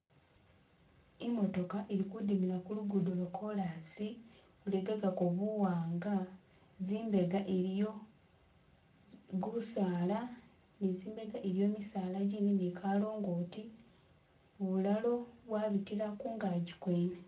Imotoka ilikhudimila khulugudo lwa'kolusi lwalekegago buwanga zzimbega iliyo gusala ni'nzibega iliyo misalanjindi ni'kalongoti, bulalo bwabitila ngungankyi gwene